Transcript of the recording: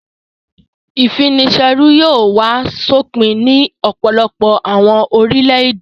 Ìfini-ṣẹrú yóò wá sópin ní ọ̀pọ̀lọpọ̀ àwọn orílẹ̀-èdè.